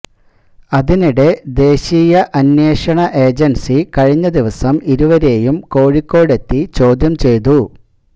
അതിനിടെ ദേശീയ അന്വേഷണ ഏജൻസി കഴിഞ്ഞ ദിവസം ഇരുവരെയും കോഴിക്കോട് എത്തി ചോദ്യം ചെയ്തു